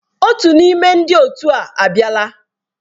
Otu n'ime ndị otu a abịala.